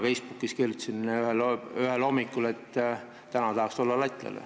Mina kirjutasin ühel hommikul Facebookis, et täna tahaks olla lätlane.